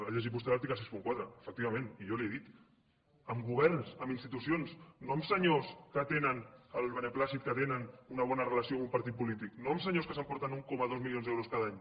ha llegit vostè l’article seixanta quatre efectivament i jo li ho he dit amb governs amb institucions no amb senyors que tenen el beneplàcit que tenen una bona relació amb un partit polític no amb senyors que s’emporten un coma dos milions d’euros cada any